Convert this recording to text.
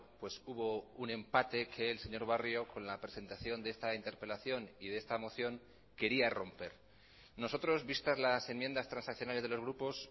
pues hubo un empate que el señor barrio con la presentación de esta interpelación y de esta moción quería romper nosotros vistas las enmiendas transaccionales de los grupos